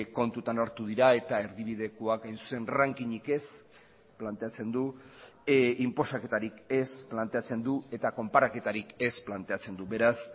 kontutan hartu dira eta erdibidekoak hain zuzen ranking ik ez planteatzen du inposaketarik ez planteatzen du eta konparaketarik ez planteatzen du beraz